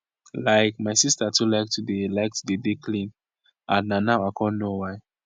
like my sister too like to dey like to dey dey clean and na now i con know why